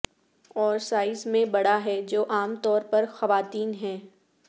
اور سائز میں بڑا ہے جو عام طور پر خواتین ہیں